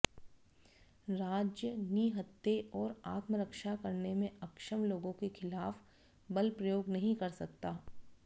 राज्य निहत्थे और आत्मरक्षा करने में अक्षम लोगों के खिलाफ बल प्रयोग नहीं कर सकता